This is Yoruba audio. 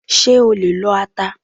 Ṣé o lè lo ata?